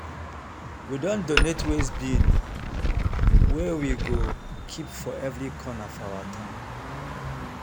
we don donate waste bin wey we go keep for every corner of our town